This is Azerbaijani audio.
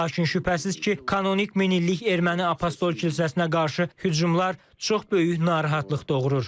Lakin şübhəsiz ki, kanonik min illik erməni apostol kilsəsinə qarşı hücumlar çox böyük narahatlıq doğurur.